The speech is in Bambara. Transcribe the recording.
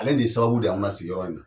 Ale de sababu de y'an ma sigiyɔrɔ in na